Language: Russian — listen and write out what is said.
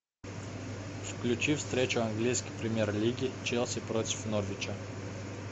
включи встречу английской премьер лиги челси против норвича